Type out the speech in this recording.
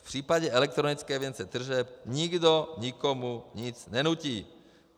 V případě elektronické evidence tržeb nikdo nikomu nic nenutí.